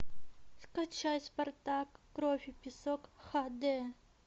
скачать спартак кровь и песок ха дэ